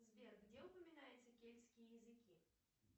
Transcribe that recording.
сбер где упоминаются кельтские языки